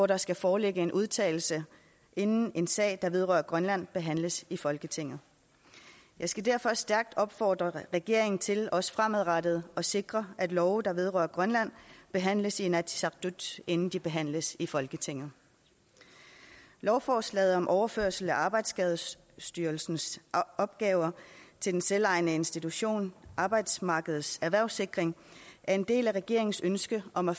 der skal foreligge en udtalelse inden en sag der vedrører grønland behandles i folketinget jeg skal derfor stærkt opfordre regeringen til også fremadrettet at sikre at love der vedrører grønland behandles i inatsisartut inden de behandles i folketinget lovforslaget om overførsel af arbejdsskadestyrelsens opgaver til den selvejende institution arbejdsmarkedets erhvervssikring er en del af regeringens ønske om at